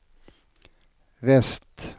väst